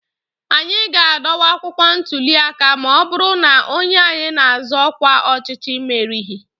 anyị ga-adọwa akwụkwọ ntụli aka ma ọ bụrụ na onye anyị na-azọ ọkwa ọchịchị merighị